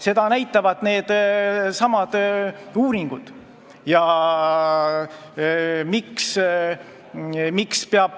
Seda näitavad needsamad uuringud.